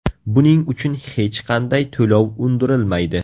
Buning uchun hech qanday to‘lov undirilmaydi.